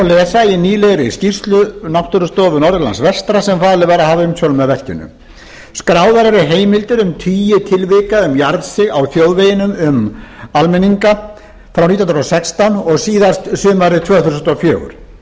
lesa í nýlegri skýrslu náttúrustofu norðurlands vestra sem falið var að hafa umsjón með verkinu skráðar eru heimildir um tíu tilvik um jarðsig á þjóðveginum um almenninga frá nítján hundruð og sextán og síðast sumarið tvö þúsund og fjögur